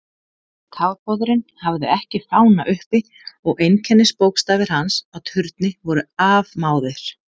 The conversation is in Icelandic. Kafbáturinn hafði ekki fána uppi og einkennisbókstafir hans á turni voru afmáðir.